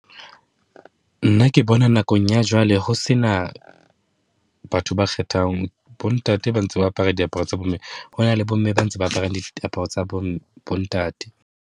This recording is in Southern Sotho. Nna ke bona nakong ya jwale. Ho se na batho ba kgethang bontate ba ntse ba apara diaparo tsa bomme. Ho na le bomme ba ntse ba aparang diaparo tsa bo bo ntate.